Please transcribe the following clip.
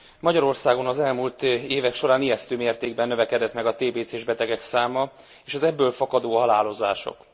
Magyarországon az elmúlt évek során ijesztő mértékben növekedett meg a tébécés betegek száma és az ebből fakadó halálozások.